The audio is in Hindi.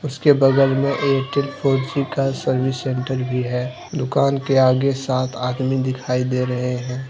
उसके बगल में एयरटेल फोर जी का सर्विस सेंटर भी है। दुकान के आगे सात आदमी दिखाई दे रहे हैं।